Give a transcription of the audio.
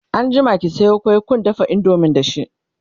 anjima ki Sayo kwai kundafa indomie da shi!